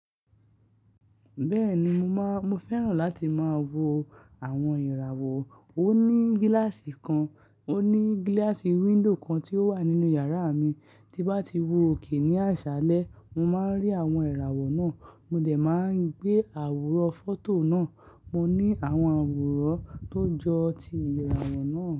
Bẹ́ẹ̀ni mo má, mo fẹ́ràn láti má wo àwọn ìràwọ̀. Mo ní gíláàsì kan, mo ní gíláàsì window kan tí ó wà nínú yàrá mi. Tí n bá ti wòkè ní àṣálẹ́, mo má ń rí àwọn ìràwọ̀ náà. Mo dẹ̀ máa ń gbé àwòrán fọ́tò náà. Mo ní àwọn àwòrán tó jọ ti ìràwọ̀ náà.